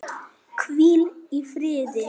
Hvíl í friði.